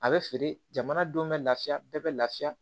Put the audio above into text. A bɛ feere jamana denw bɛ lafiya bɛɛ bɛ lafiya